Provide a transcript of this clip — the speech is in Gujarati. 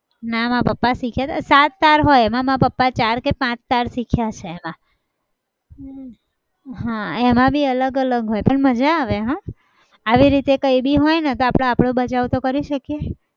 નાં મારા પપ્પા શીખ્યા હતા. સાત હોય એમાં મારા પપ્પા ચાર કે પાચ તાર શીખ્યા છે હા એમાં બી અલગ અલગ હોય પણ મજા આવે હા આવી રીતે કઈ બી હોય તો આપણે આપણો તો બચાવ કરી શકીએ